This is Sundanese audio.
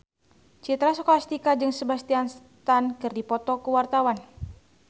Citra Scholastika jeung Sebastian Stan keur dipoto ku wartawan